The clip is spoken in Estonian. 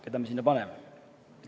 Keda me sinna paneme?